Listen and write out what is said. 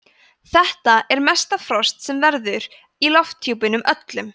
þetta er mesta frost sem verður í lofthjúpnum öllum